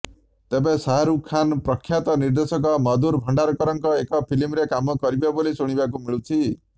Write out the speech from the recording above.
ତେଣେ ଶାହାରୁଖ୍ ଖାନ୍ ପ୍ରଖ୍ୟାତ ନିର୍ଦ୍ଦେଶକ ମଧୁର ଭଣ୍ଡାରକରଙ୍କ ଏକ ଫିଲ୍ମରେ କାମ କରିବେ ବୋଲି ଶୁଣିବାକୁ ମିଳୁଛି